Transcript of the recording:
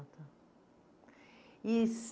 Ah, tá. E